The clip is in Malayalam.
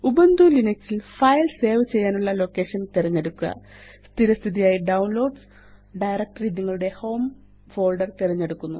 ഉബുന്റു ലിനക്സ് ല് ഫൈൽ സേവ് ചെയ്യാനുള്ള ലൊക്കേഷന് തിരഞ്ഞെടുക്കുക സ്ഥിരസ്ഥിതിയായി ഡൌൺലോഡ്സ് ഡയറക്ടറി നിങ്ങളുടെ ഹോം ഫോൾഡർ തിരഞ്ഞെടുത്തിരിക്കുന്നു